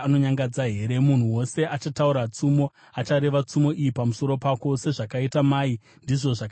“ ‘Munhu wose achataura tsumo achareva tsumo iyi pamusoro pako: “Sezvakaita mai ndizvo zvakaita mwanasikana.”